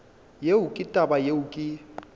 yeo ke taba yeo ke